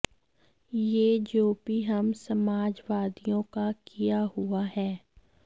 ये जो भी हम समाजवादियों का किया हुआ है